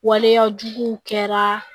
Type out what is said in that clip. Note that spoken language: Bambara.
Waleyajuguw kɛraa